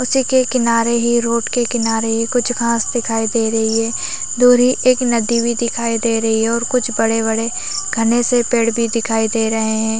उसी के किनारे ही रोड के किनारे ही कुछ घास दिखाई दे रही है दूर ही एक नदी भी दिखाई दे रही है और कुछ बड़े-बड़े घने से पेड़ भी दिखाई दे रहे है।